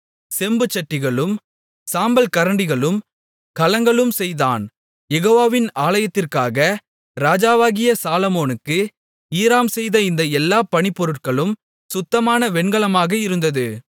செம்புச்சட்டிகளும் சாம்பல் கரண்டிகளும் கலங்களும் செய்தான் யெகோவாவின் ஆலயத்திற்காக ராஜாவாகிய சாலொமோனுக்கு ஈராம் செய்த இந்த எல்லாப் பணிப்பொருட்களும் சுத்தமான வெண்கலமாக இருந்தது